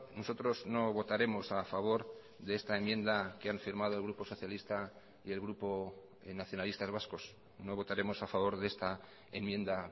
nosotros no votaremos a favor de esta enmienda que han firmado el grupo socialista y el grupo nacionalistas vascos no votaremos a favor de esta enmienda